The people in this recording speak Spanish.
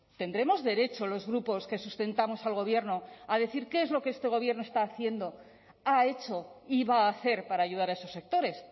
tendremos derecho los grupos que sustentamos al gobierno a decir qué es lo que este gobierno está haciendo ha hecho y va a hacer para ayudar a esos sectores